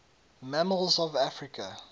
mammals of africa